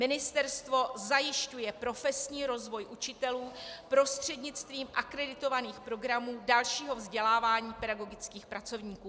Ministerstvo zajišťuje profesní rozvoj učitelů prostřednictvím akreditovaných programů dalšího vzdělávání pedagogických pracovníků.